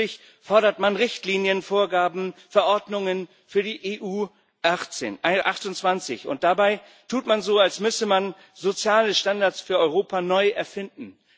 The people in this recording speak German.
Nein, fröhlich fordert man Richtlinien, Vorgaben, Verordnungen für die EU 28, und dabei tut man so, als müsse man soziale Standards für Europa neu erfinden.